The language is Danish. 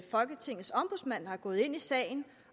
folketingets ombudsmand er gået ind i sagen